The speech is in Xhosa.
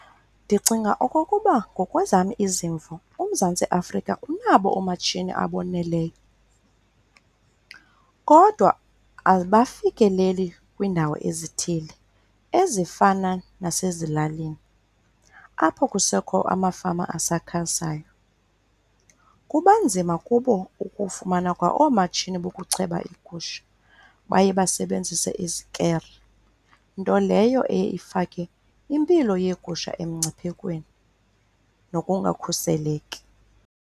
Ndicinga okokuba ngokwezam izimvo uMzantsi Afrika unabo oomatshini aboneleyo kodwa abafikeleli kwiindawo ezithile ezifana nasezilalini, apho kusekho amafama asakhasayo. Kuba nzima kubo ukufumana kwa oomatshini bokucheba iigusha, baye basebenzise izikere. Nto leyo eye ifake impilo yegusha emngciphekweni nokungakhuseleki.